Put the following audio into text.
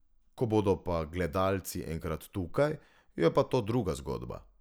Ko bodo pa gledalci enkrat tukaj, je pa to druga zgodba.